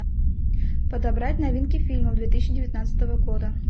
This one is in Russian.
подобрать новинки фильмов две тысячи девятнадцатого года